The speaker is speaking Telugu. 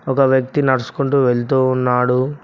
ఒక వ్యక్తి నడుసుకుంటూ వెళ్తూ ఉన్నాడు.